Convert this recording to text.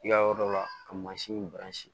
I ka yɔrɔ dɔ la ka mansin